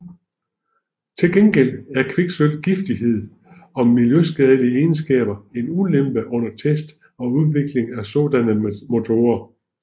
Til gengæld er kviksølvs giftighed og miljøskadelige egenskaber en ulempe under test og udvikling af sådanne motorer